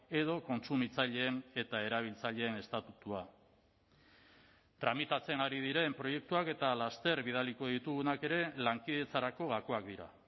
edo kontsumitzaileen eta erabiltzaileen estatutua tramitatzen ari diren proiektuak eta laster bidaliko ditugunak ere lankidetzarako gakoak dira